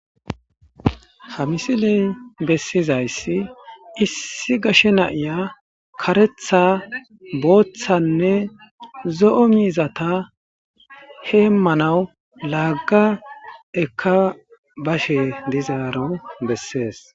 Ha misiley besizays issi gashe na'iya karetha , boothanne zo'o mizata hemanaw Laga eka bashe dizaro beses.